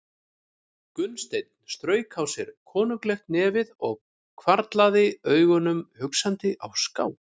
Gunnsteinn strauk á sér konunglegt nefið og hvarflaði augunum hugsandi á ská.